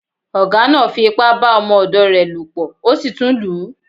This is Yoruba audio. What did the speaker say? Ọ̀gá náá fi ipá bá ọmọ ọ̀dọ̀ rẹ̀ lò pọ̀ ó sì tún lù ú